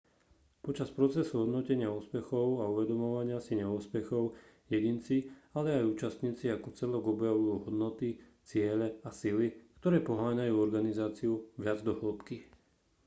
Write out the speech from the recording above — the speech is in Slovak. počas procesu hodnotenia úspechov a uvedomovania si neúspechov jedinci ale aj účastníci ako celok objavujú hodnoty ciele a sily ktoré poháňajú organizáciu viac do hĺbky